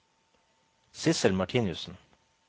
Sissel Martinussen